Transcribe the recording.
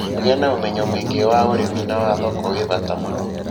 Kũgĩa na umenyo mũingĩ wa ũrĩmi na wa thoko gwĩ bata mũno